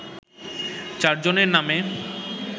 চারজনের নামে